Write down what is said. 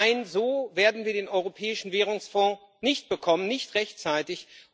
Nein, so werden wir den Europäischen Währungsfonds nicht bekommen nicht rechtzeitig.